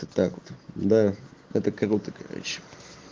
это так вот да это круто короче